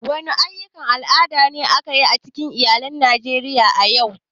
Wani aƴƴukan al'ada ne ake yi a cikin iyalan Najeriya a yau?